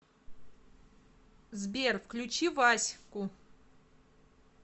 сбер включи вась ку